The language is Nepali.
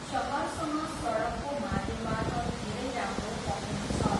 सहरसँग सडकको माध्यमबाट धेरै राम्रो पहुँच छ।